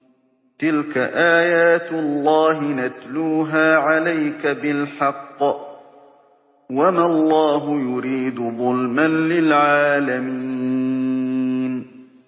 تِلْكَ آيَاتُ اللَّهِ نَتْلُوهَا عَلَيْكَ بِالْحَقِّ ۗ وَمَا اللَّهُ يُرِيدُ ظُلْمًا لِّلْعَالَمِينَ